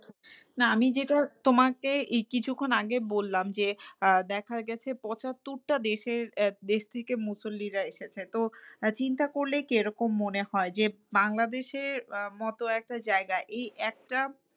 না আমি যেটা তোমাকে এই কিছুক্ষন আগে বললাম যে, আহ দেখা গেছে পঁচাত্তরটা দেশের দেশ থেকে মুসল্লিরা এসেছে। তো চিন্তা করলেই কি রকম মনে হয় যে, বাংলাদেশের মতো একটা জায়গায় এই একটা